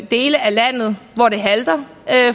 dele af landet hvor det halter